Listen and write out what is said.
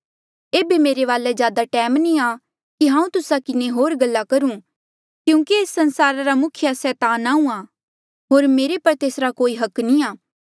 एेबे मेरे वाले ज्यादा टैम नी आ कि हांऊँ तुस्सा किन्हें होर गल्ला करु क्यूंकि एस संसारा रा मुखिया सैतान आहूँआं होर मेरे पर तेसरा कोई अधिकार नी आ